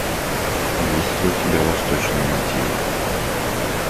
есть ли у тебя восточные мотивы